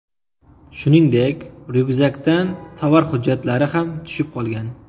Shuningdek, ryukzakdan tovar hujjatlari ham tushib qolgan.